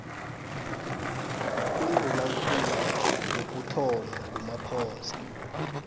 undunakulu wokuthoma ngumaphoso